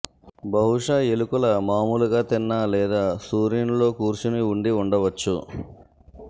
బహుశా ఎలుకల మామూలుగా తిన్న లేదా సూర్యునిలో కూర్చొని ఉండి ఉండవచ్చు